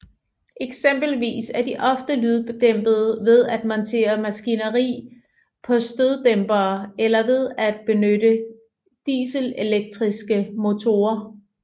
Eksempelvis er de ofte lyddæmpet ved at montere maskineri på støddæmpere eller ved at benytte dieselelektriske motorer